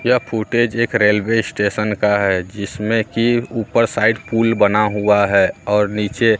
यह फुटेज एक railway station का है जिसमें की ऊपर साइड पूल बना हुआ है और नीचे--